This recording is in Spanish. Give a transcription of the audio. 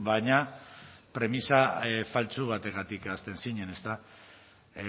baina premisa faltsu bategatik hasten zinen ezta